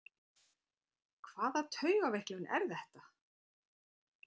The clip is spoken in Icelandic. Hvaða taugaveiklun er þetta!